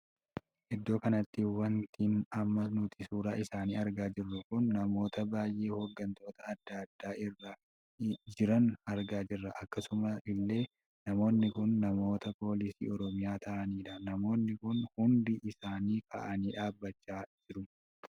Iddoo kanatti wanti amma nuti suuraa isaanii argaa jirru kun namoota baay'ee hoggantoota addaa addaa irra jiran argaa jirra. akkasuma illee namoonni kun namoota poolisii oromiyaa taa'aniidha. namoonni kun hundi isaanii kaa'anii dhaabbachaa jiru.